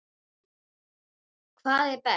Hvað er best?